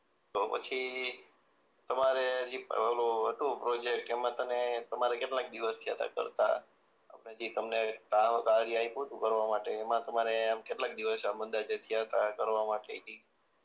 તો પછી તમારે જે ઓલું હતું પ્રોજેક્ટ એમાં તને તમારે કેટલાક દિવસ થયા તા કરતા આપણે જે તમને કામ કાર્ય કરવા આપ્યું તું તમને કરવા માટે એમાં તમારે એમ કેટલાક દિવસ આમ અંદાજ એ આમ થયાતા કરવા માટે કંઇક